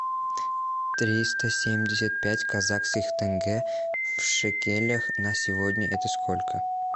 триста семьдесят пять казахских тенге в шекелях на сегодня это сколько